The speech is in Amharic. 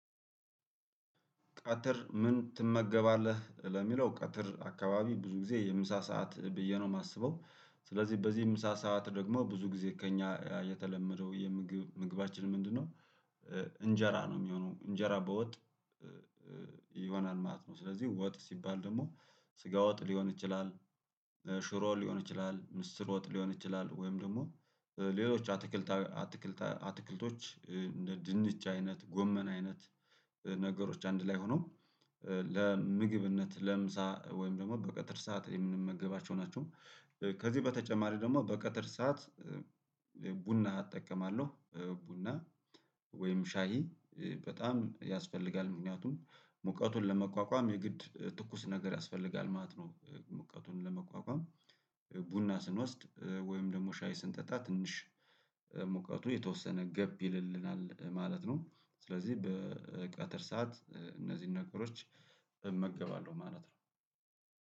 ቀትር ምን ትመገባለህ ለሚለው ቀትር አካባቢ ብዙ ጊዜ የምሳ ሰዓት ብዬ ነው የማስበው ስለዚህ በዚህም ምሳ ሰዓት ደግሞ ብዙ ጊዜ ከእኛ የተለመደው የምግብ ምግባችን ምንድነው? እንጀራ ነው የሚሆነው እንጀራ በወጥ ይሆናል ማለት ነው። ስለዚህ ወጥ ሲባል ደግሞ ስጋ ወጥ ሊሆን ይችላል። ሽሮ ሊሆን ይችላል ምስር ወጥ ሊሆን ይችላል ወይም ደግሞ በሌሎች አትክልታዊ አትክልታ አትክልቶች እንደ ድንች አይነት ጎመን አይነት ነገሮች አንድ ላይ ሆነው ለምግብነት ለምሳ ወይም ደግሞ በቀጥር ሰዓት የምንመገባቸው ናቸው። ከዚህ በተጨማሪ ደግሞ በቀትር ሰዓት ቡና አጠቀማለሁ ቡና ወይም ሻሂ በጣም ያስፈልጋል ምክንያቱም ሙቀቱን ለመቋቋም የግድ ትኩስ ነገር ያስፈልጋል ማለት ነው። ሙቀቱን ለመቋቋም ቡና ስንወስድ ወይም ደግሞ ሻይ ስንጠጣ ትንሽ ሙቀቱ የተወሰነ ገብ ይልልናል ማለት ነው። ስለዚህ በ በቀትር ሰዓት እነዚህን ነገሮች እመገባለሁ ማለት ነው